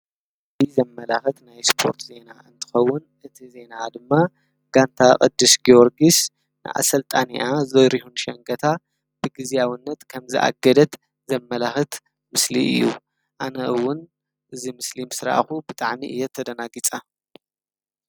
እዚ ምስሊ ዘማላክት እስፖርት ዜና እንተኸውን እቲ ዜና ድማ ጋንታ ቅዱስ ጊዮርጊስ ንኣሰልጣኒኣ ዘሪሁን ሻጋታ ብግዝያዊነት ከም ዝኣገደት ዘመላኽት ምስሊ እዩ። ኣነ እውን እዚ ምስሊ ምስ ረኣኩ ብጣዕሚ እየ ተደናጊፀ።